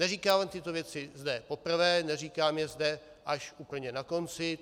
Neříkám tyto věci zde poprvé, neříkám je zde až úplně na konci.